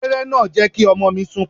Abéré náà jẹ́ kí ọmọ mi sunkún.